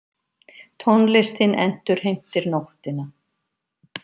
Tónlistin endurheimtir nóttina.